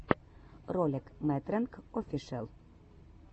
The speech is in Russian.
ролик мэтрэнг офишэл